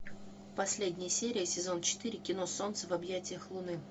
последняя серия сезон четыре кино солнце в объятиях луны